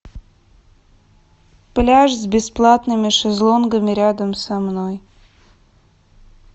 пляж с бесплатными шезлонгами рядом со мной